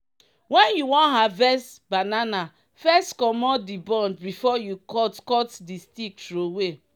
when you wan harvest banana first comot the bunch before you cut cut the stick throway.